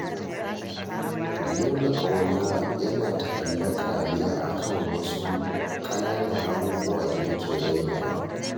Nuna ƙauna yana ta'allaƙa ne a kan wasu ƙananan abububuwa da muke rainawa